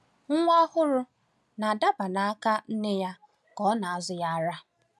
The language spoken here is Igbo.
Nwa ọhụrụ na-adaba n’aka nne ya ka ọ na-azụ ya ara.